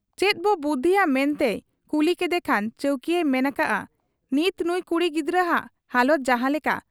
ᱪᱮᱫᱵᱚ ᱵᱩᱫᱷᱤᱭᱟ ᱢᱮᱱᱛᱮᱭ ᱠᱩᱞᱤ ᱠᱮᱫᱮ ᱠᱷᱟᱱ ᱪᱟᱹᱣᱠᱤᱭᱟᱹᱭ ᱢᱮᱱ ᱟᱠᱟᱜ ᱟ ᱱᱤᱛ ᱱᱩᱸᱭ ᱠᱩᱲᱤ ᱜᱤᱫᱟᱹᱨᱟᱜ ᱦᱟᱞᱚᱛ ᱡᱟᱦᱟᱸ ᱞᱮᱠᱟ,